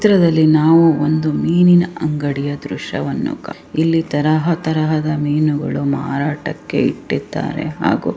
ಈ ಚಿತ್ರದಲ್ಲಿ ನಾವು ಒಂದು ಮೀನಿನ ಅಂಗಡಿಯ ದೃಶ್ಯವನ್ನು ಕಾಣಬಹುಧು ಇಲ್ಲಿ ತರಹ ತರಹದ ಮೀನುಗಳು ಮಾರಾಟಕ್ಕೆ ಇಟ್ಟಿದ್ದಾರೆ ಹಾಗು--